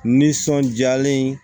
Nisɔndiyalen ye